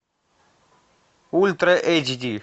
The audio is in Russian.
ультра эйч ди